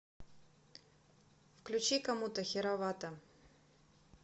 включи комуто херовато